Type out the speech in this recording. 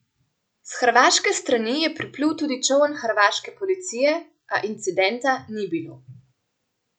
S hrvaške strani je priplul tudi čoln hrvaške policije, a incidenta ni bilo.